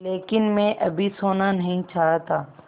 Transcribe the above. लेकिन मैं अभी सोना नहीं चाहता